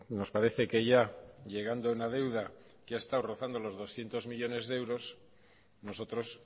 nos parece que ya llegando a una deuda que ha estado rozando los doscientos millónes de euros nosotros